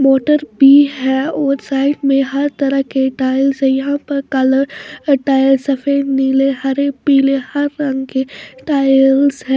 Motor भी है और साइड में हर तरह के टाइल्स है यहां पर कलर टाइल्स सफेद नीले हरे पीले हर रंग के टाइल्स है।